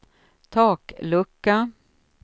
taklucka